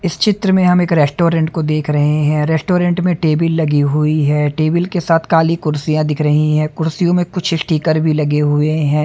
इस चित्र में हम एक रेस्टोरेंट को देख रहे हैं रेस्टोरेंट में टेबिल लगी हुई है टेबिल के साथ काली कुर्सियां दिख रही है कुर्सियों में कुछ स्टीकर भी लगे हुए हैं।